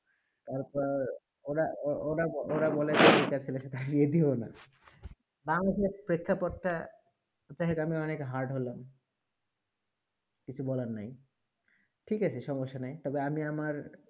তার পর ওরা বলে যে ছেলে কে তাড়িয়ে দিয়ো না বামঙ্গলদেশে প্রেক্ষা পড়তে হচ্ছে আমি অনেক hard হলাম কিছু বলা নেই ঠিক আছে সমস্যা নেই তার পরে আমি আমার